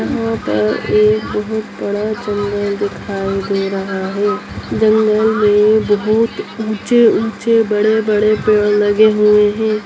यहां पर एक बहुत बड़ा जंगल दिखाई दे रहा है जंगल में बहुत ऊंचे-ऊंचे बड़े-बड़े पेड़ लगे हुए है।